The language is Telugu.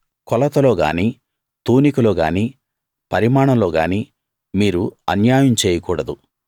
కొలతలోగాని తూనికలోగాని పరిమాణంలో గాని మీరు అన్యాయం చేయకూడదు